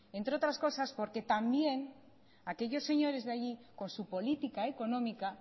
entre otras cosas porque también aquellos señores de allí con su política económica